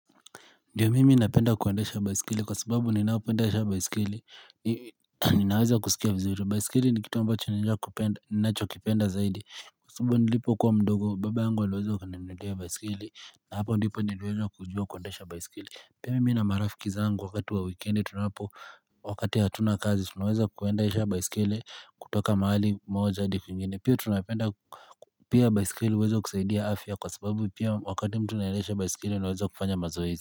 Ndiyo mimi napenda kuendesha baisikeli kwa sababu ninapoendesha baisikeli Ninaweza kusikia vizuri baisikeli nikitu ambacho nina kupenda ninacho kipenda zaidi Kwa sababu nilipo kuwa mdogo baba yangu aliweza kunipendea baisikeli na hapo nilipo niliweza kujua kuendesha baisikeli Pia mimi na marafiki zangu wakati wa wikendi tunapo wakati hatuna kazi tunaweza kuendesha baisikeli kutoka mahali moja hadi kwingine pia tunapenda Pia baisikeli huweza kusaidia afya kwa sababu pia wakati mtu naendesha baiskeli anaweza kufanya mazoezi.